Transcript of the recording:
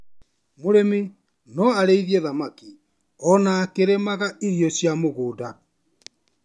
Mũrĩmi no arĩithie thamaki ona akĩrĩmaga irio cia mũgũnda.